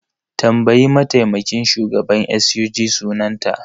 Tambayi mataimakin shugaban SUG sunanta!